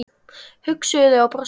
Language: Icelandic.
hugsuðu þau og brostu.